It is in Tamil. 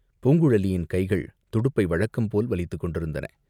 பூங்குழலியின் கைகள் துடுப்பை வழக்கம்போல் வலித்துக் கொண்டிருந்தன.